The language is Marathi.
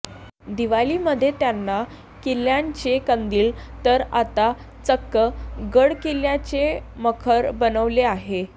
दिवाळीमध्ये त्यांनी किल्ल्यांचे कंदील तर आता चक्क गड किल्ल्याचे मखर बनवले आहे